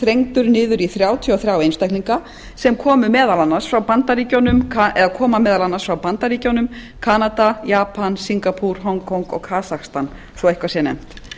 þrengdur niður í þrjátíu og þriggja einstaklinga sem koma meðal annars frá bandaríkjunum kanada japan singapoore hong kong og kasakstan svo eitthvað sé nefnt